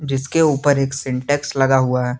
जिसके ऊपर एक सिंटेक्स लगा हुआ है।